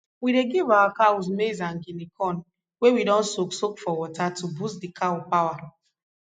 we dey give our cows maize and guinea corn wey we don soak soak for water to boost d cow power